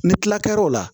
Ni kila kɛr'o la